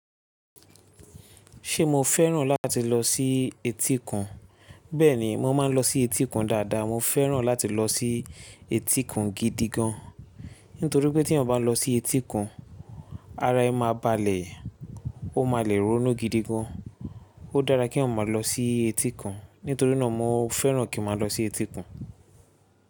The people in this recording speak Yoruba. Ṣé mo fẹ́ràn láti lọ sí etíkun? Bẹ́ẹ̀ni, mo máa ń lọ sí etíkun dáadáa. Mo fẹ́ràn láti lọ sí etíkun gidi gan. Nítorí pé tí ọba ń lọ sí etíkun, ara ẹ máa balẹ̀, ó máa le ronú gidi gan. Ó dára kí eeyan maa lọ sí etíkun. Nítorí náà mo fẹ́ràn kí màá lọ sí etíkun.